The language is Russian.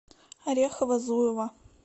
орехово зуево